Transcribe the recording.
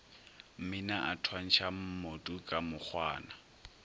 mmina a thwantšha mmotuka mokgwana